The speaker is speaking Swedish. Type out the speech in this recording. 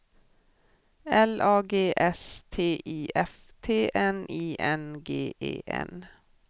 L A G S T I F T N I N G E N